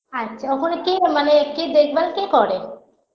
আচ্ছা ওখানে কে মানে কে দেখভাল কে করে